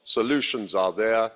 solutions are there.